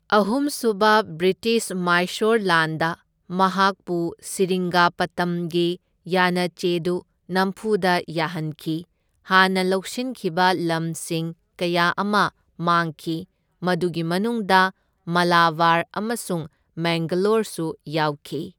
ꯑꯍꯨꯝꯁꯨꯕ ꯕ꯭ꯔꯤꯇꯤꯁ ꯃꯥꯏꯁꯣꯔ ꯂꯥꯟꯗ ꯃꯍꯥꯛꯄꯨ ꯁꯦꯔꯤꯡꯒꯥꯄꯇꯝꯒꯤ ꯌꯥꯅꯆꯦꯗꯨ ꯅꯝꯐꯨꯗ ꯌꯥꯍꯟꯈꯤ, ꯍꯥꯟꯅ ꯂꯧꯁꯤꯟꯈꯤꯕ ꯂꯝꯁꯤꯡ ꯀꯌꯥ ꯑꯃ ꯃꯥꯡꯈꯤ, ꯃꯗꯨꯒꯤ ꯃꯅꯨꯡꯗ ꯃꯥꯂꯥꯕꯥꯔ ꯑꯃꯁꯨꯡ ꯃꯦꯡꯒꯂꯣꯔꯁꯨ ꯌꯥꯎꯈꯤ꯫